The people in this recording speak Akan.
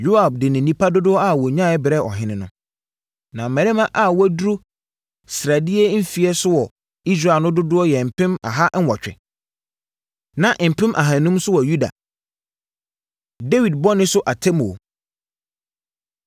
Yoab de ne nnipa dodoɔ a wɔnyaeɛ brɛɛ ɔhene no. Na mmarima a wɔaduru sraadie mfeɛ so wɔ Israel no dodoɔ yɛ mpem aha nwɔtwe, na mpem ahanum nso wɔ Yuda. Dawid Bɔne So Atemmuo